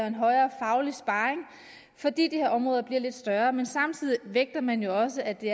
en højere faglig sparring fordi de her områder bliver lidt større men samtidig vægter man jo også at det